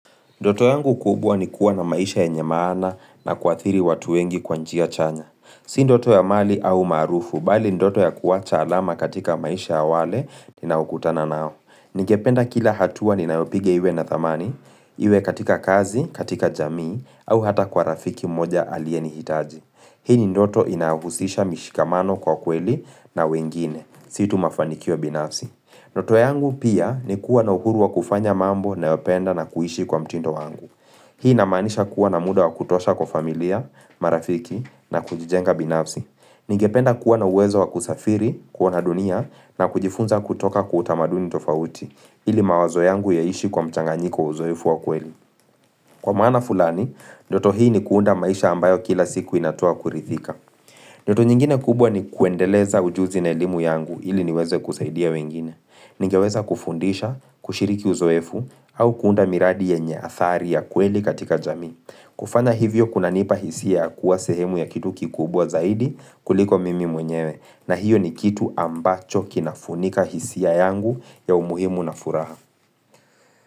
Ndoto yangu kubwa ni kuwa na maisha yenye maana na kuathiri watu wengi kwa njia chanya. Si ndoto ya mali au maarufu, bali ndoto ya kuwacha alama katika maisha ya wale, ninaukutana nao. Ningependa kila hatua ni nayopiga iwe na thamani, iwe katika kazi, katika jamii, au hata kwa rafiki moja aliyenihitaji. Hii ni ndoto inayohusisha mishikamano kwa kweli na wengine. Si tu mafanikio binafsi. Ndoto yangu pia ni kuwa na uhuru wa kufanya mambo nayopenda na kuishi kwa mtindo wangu. Hii inamaanisha kuwa na muda wa kutosha kwa familia, marafiki na kujijenga binafsi. Ningependa kuwa na uwezo wa kusafiri, kuona dunia na kujifunza kutoka kwa utamaduni tofauti, ili mawazo yangu yaishi kwa mchanganyiki wa uzoefu wakweli. Kwa maana fulani, ndoto hii ni kuunda maisha ambayo kila siku inatoa kurithika. Ndoto nyingine kubwa nikuendeleza ujuzi na elimu yangu ili niweze kusaidia wengine. Ningeweza kufundisha, kushiriki uzoefu au kuunda miradi yenye athari ya kweli katika jamii kufanya hivyo kunanipa hisia ya kuwa 4sehemu ya kitu kikubwa zaidi kuliko mimi mwenyewe na hiyo ni kitu ambacho kinafunika hisia yangu ya umuhimu na furaha.